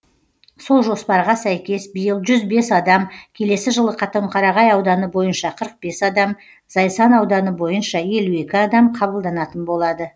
сол жоспарға сәйкес биыл жүз бес адам келесі жылы қатонқарағай ауданы бойынша қырық бес адам зайсан ауданы бойынша елу екі адам қабылданатын болады